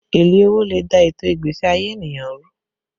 Èlé owó lè dà ètò ìgbésí ayé ènìyàn rú